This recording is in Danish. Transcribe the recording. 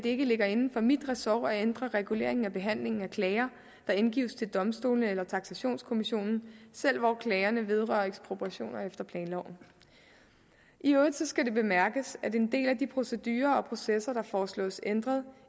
ikke ligger inden for mit ressort at ændre reguleringen af behandlingen af klager der indgives til domstole eller taksationskommissionen selv hvor klagerne vedrører ekspropriationer efter planloven i øvrigt skal det bemærkes at en del af de procedurer og processer der foreslås ændret